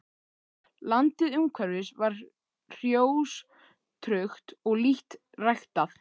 Landið umhverfis var hrjóstrugt og lítt ræktað.